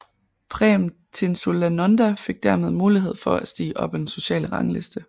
Prem Tinsulanonda fik dermed mulighed for at stige op ad den sociale rangliste